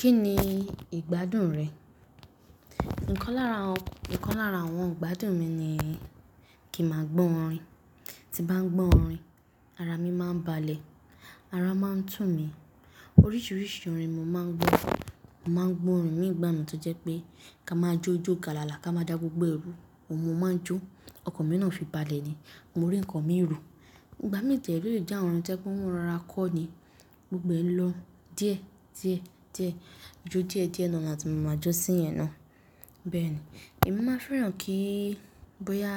Kí ni ìgbádùn rẹ? Ǹkan lára àwọn ìgbádùn mi ni kí màá gbọ́ orin. Ti ń bá gbọ́ orin, ara mi máa ń balẹ̀, ara máa ń tún mi. Oríṣiríṣi orin mo máa ń gbọ́. Mo máa ń gbọ́ orin ní ìgbà mí tó jẹ́ pé ká máa jó ijó galala, ká máa dá gbogbo ẹrù oun ní mo máa ń jó. Ọkàn mi náà fi balẹ̀ ni mo rí ǹkan mi rò. Ìgbà mí dè ré ọ lè jẹ́ àwọn tẹ́ pé wọn ró ra kọ́ ni gbogbo ẹ lọ díẹ̀, díẹ̀, díẹ̀. Ojú díẹ̀ díẹ̀ náà làti má ma jọ́sìn yẹn ná. Bẹ́ẹ̀ni, èmi máa fẹ́ràn kí bóyá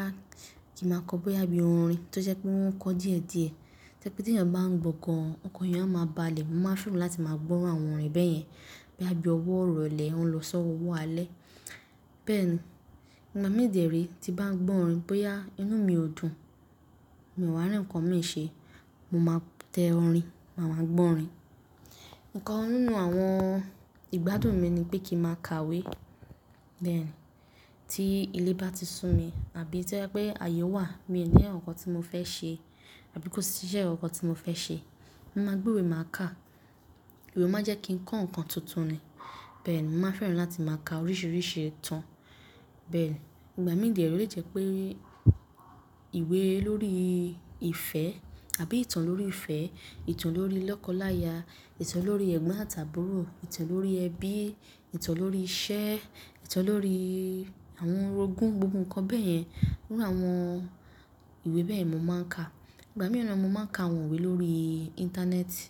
kí màá kọ́ bóyá bíi orin tó jẹ́ pé wọn kọ́ díẹ̀ díẹ̀. To jẹ pé tí ẹ̀yàn bá ń gbọ́ gán, ọkàn èèyàn a má balẹ̀. Mo máa fẹ́ràn láti máa gbọ́ irú àwọn orin bẹ́yẹn bóyá bí ọwọ́ iròlẹ̀ o ń lọ sọ́wọ́ alẹ́. Bẹ́́ẹ̀ ni, ìgbà mí dì è ré tí bá ń gbọ́ orin bóyá inú mi ò dùn, mi ò wà rí ǹkan mi ṣe, mo máa tẹ orin, màá máa gbọ́ orin. Ǹkan nínú àwọn ìgbádùn mi ni pé kí màá kàwé. Bẹ́ẹ̀ ni, tí ilé bá ti sú mi àbí tí ó jẹ́ pé ayé wà, mi ò ní àwọn ǹkan tí mo fẹ́ ṣe àbí kò sí iṣẹ́ kàn kan tí mo fẹ́ ṣe, mo máa gbé ìwé máa kà. Ìwé máa jẹ́ kí n kọ́ ǹkan tuntun ni. Bẹ́ẹ̀ ni, màá fẹ́ràn láti máa ka oríṣiríṣi ìtàn. Bẹ́ẹ̀ ni, ìgbà mí dè ré o lè jẹ́ pé ìwé lórí ìfẹ́ àbí ìtàn lórí ìfẹ́, ìtàn lórí lọ́kọláya, ìtàn lórí ẹ̀gbọ́n àti àbúrò, ìtàn lórí ẹbí, ìtàn lórí iṣẹ́, ìtàn lórí àwọn orogún, gbogbo ǹkan bẹ́ẹ̀ yẹn, irú àwọn ìwé bẹ́ẹ̀ mo máa ń ka. Ìgbà mìí naa mo máa ń ka àwọn ìwé lórí Íńtánẹ́ẹ̀tì.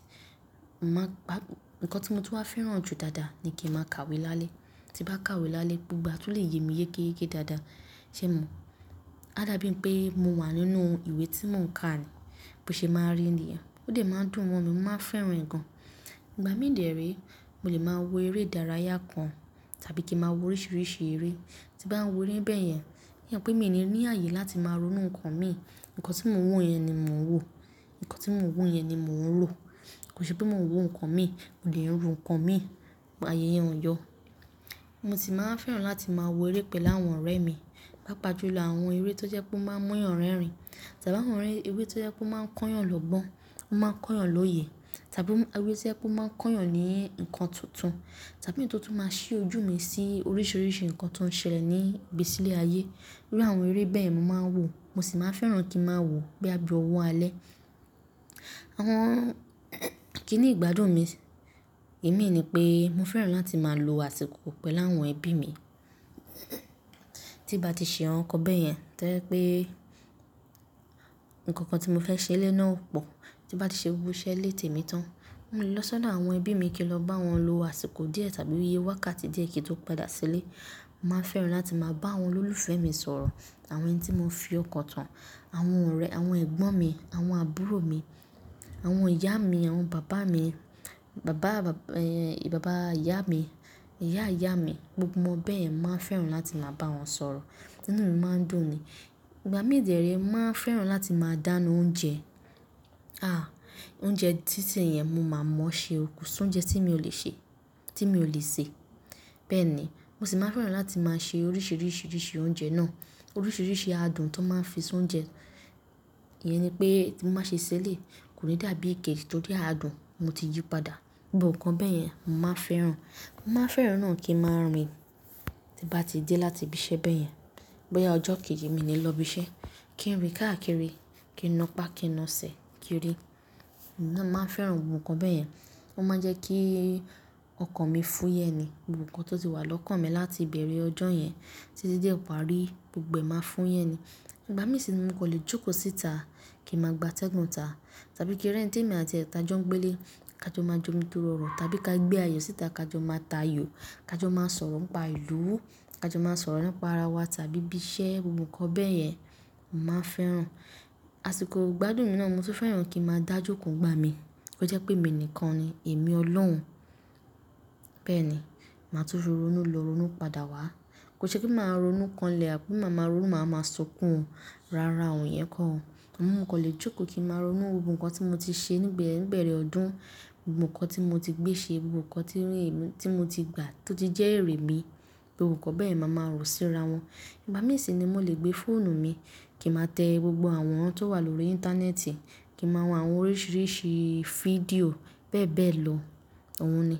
Ǹkan tí mo ti wá fẹ́ràn jù dáadáa, ni kí màá kàwé lálẹ́. Ti bá kàwé lálẹ́ gbogbo àtún lè yé mi yékéyéké dáadáa. Ṣé mo? A dàbí n pé mo wà nínú ìwé tí mò ń kà ni. Bó ṣe máa rí ènìyàn, ó dè máa ń dùn mọ mi mo máa fẹ́ràn gan. Ìgbà mí dè ré mo lè máa wo eré ìdárayá kan tàbí kí màá wo oríṣiríṣi eré. Ti bá ń wo eré bẹ́yẹn, ṣo mo pé mi ò ní ààyè láti máa ronú ǹkan mi. Ǹkan tí mò ń wo yẹn ni mò ń wò. Ǹkan tí mò ń wù yẹn ni mò ń rò. Kò ṣe pé mò ń wò ǹkan mi, mo dè ń ro ǹkan mi. Àyè yẹn ò yọ. Mo sì máa ń fẹ́ràn láti máa wo eré pẹ̀lú àwọn ọ̀rẹ́ mi. Pápá júlọ àwọn eré tó jẹ́ pé ó máa ń muyàn rẹ́rìn tàbí àwọn eré tó jẹ́ pé ó máa ń kóyàn lọ́gbọ́n, ó máa ń kóyàn lóyè tàbí eré tó jẹ́ pé ó máa ń kóyàn ní ǹkan tuntun tàbí èyí tó tu máa ṣí ojú mi sí oríṣiríṣi ǹkan tó ń ṣẹlẹ̀ ní ìgbésílẹ̀ ayé. Irú àwọn eré bẹ́ẹ̀ mo máa ń wò. Mo sì máa ń fẹ́ràn kí màá wò bóyá bí ọwọ́ alẹ́. Àwọn kí ni ìgbádùn mi? Èmi ni pé mo fẹ́ràn láti máa lo àsìkò pẹ̀lú àwọn ẹbí mi. Tí bá ti ṣe àwọn ǹkan bẹ́yẹn to jẹ̀ pé ǹkan kan tí mo fẹ́ ṣe lé náà ò pọ̀, tí bá ti ṣe gbogbo iṣẹ́ lé tè mi tán, mò lè lọ sọ́ dó àwọn ẹbí mi kí lọ bá wọn lo àsìkò díẹ̀ tàbí iye wákàtí díẹ̀ kí tó padà sílé. Mo máa ń fẹ́ràn láti máa bá àwọn olólùfẹ́ mi sọ̀rọ̀, àwọn ẹni tí mo fi ọkàn tán, àwọn ọ̀rẹ́, àwọn ẹ̀gbọ́n mi, àwọn àbúrò mi, àwọn ìyá mi, àwọn bàbá mi, bàbá ìyá mi, ìyá ìyá mi, gbogbo wọn bẹ́ẹ̀ yẹn mo máa ń fẹ́ràn láti máa bá wọn sọ̀rọ̀. Inú mi máa ń dùn ni. Ìgbà mí dè ré mo màá fẹ́ràn láti máa dáná oúnjẹ. Ah! Oúnjẹ títí yẹn mo máa mọ̀ ṣe o, kò soúnjẹ tí mi ò lè ṣe, tí mi ò lè sè. Bẹ́ẹ̀ ni, mo sì máa ń fẹ́ràn láti máa ṣe oríṣiríṣi oríṣi oúnjẹ náà. Oríṣiríṣi adùn tó máa ń fi soúnjẹ. Ìyẹn ni pé tí màá ṣe ṣẹ́lẹ̀, kò ní dàbí ikejì torí adùn mo ti yí padà. Gbogbo ǹkan bẹ́ yẹn mo máa ń fẹ́ràn. Mo máa fẹ́ràn náà kí màá rìn tí bá ti dé láti ibiṣẹ́ bẹ́yẹn. Bóyá ọjọ́ kejì mi ni lọ ibiṣẹ́, kí n rìn káàkiri, kí n na pá, kí n na sè, kí rì. Mo máa ń fẹ́ràn gbogbo ǹkan bẹ̀yẹn. Ó máa ń jẹ́ kí ọkàn mi fúyẹ́ ni. Gbogbo ǹkan tó ti wà lọ́kàn mi láti ìbẹ̀rẹ̀ ọjọ́ yẹn títí dé ìparí gbogbo ẹ máa fú yẹ ni. Ìgbà mí sì ni mo kò lè jókòó síta, kí màá gbátẹ́gùn ta tàbí kí ri eǹi temi àti ẹ̀ ta jọ ń gbé le, ká jọ máa jọ́ mú tọrọ ọrọ tàbí ká gbé àyò síta ká jọ máa ta àyò, ká jọ máa sọ̀rọ̀ ń pa ìlú, ká jọ máa sọ̀rọ̀ ńipa ara wa tàbí ibiṣẹ́ gbogbo ǹkan bẹ̀yẹn, màá fẹ́ràn. Àsìkò ìgbádùn mi náà mo tún fẹ́ràn kí màá dájókòó gba mi. Ó jẹ́ pé mi enìkan ni, èmi olóhun. Bẹ́ẹ̀ ni, màá tún rorónú lọ, rorónú padà wá. Kò ṣe pé màá ronú kanlẹ̀ àbí mà ma ronú má má sunkùn. Rárá ò iyẹn kọ̀. Amọ mo kò lè jókòó kí màá ronú gbogbo ǹkan tí mo ti ṣe níbẹ̀ẹ̀rẹ̀ ọdún, gbogbo ǹkan tí mo ti gbé ṣe, gbogbo ǹkan tí mo ti gbà tó ti jẹ́ èrè mi, gbogbo ǹkan bẹ́ẹ̀ máa ma rò síra wọn. Ìgbà mí sì ni mò lè gbé fóònù mi kí màá tẹ gbogbo awọran tó wà lórí Íńtánẹ́ẹ̀tì, kí màá wo àwọn oríṣiríṣi fídíò bẹ́ẹ̀ bẹ́ẹ̀ lọ. Òun ni.